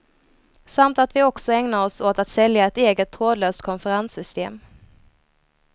Samt att vi också ägnar oss åt att sälja ett eget trådlöst konferenssystem.